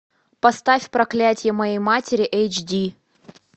поставь проклятье моей матери эйч ди